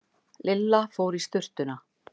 Lilla fór í svuntuna.